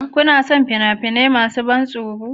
Kuna son fina-finai masu ban tsoro